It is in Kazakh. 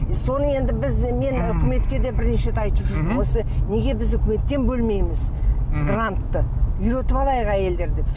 соны енді біз мен үкіметке де мен бірнеше рет айтып жүрдім осы неге біз үкіметтен бөлмейміз грантты үйретіп алайық әйелдерді деп